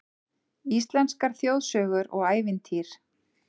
Íslenskar þjóðsögur og ævintýr